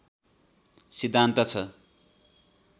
सिद्धान्त छ